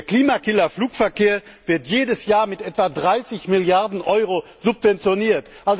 Der Klimakiller Flugverkehr wird jedes Jahr mit etwa 30 Milliarden Euro subventioniert.